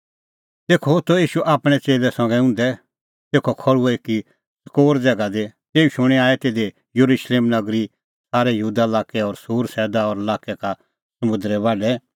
तेखअ होथअ ईशू आपणैं च़ेल्लै संघै उंधै तेखअ खल़्हुअ एकी च़कोर ज़ैगा दी तेऊ शूणीं आऐ तिधी येरुशलेम नगरी सारै यहूदा लाक्कै और सूर और सैदा लाक्कै का समुंदरे बाढै